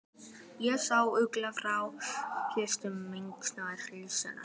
Ég sá auglýsingu frá hljómsveit Magnúsar Ingimarssonar.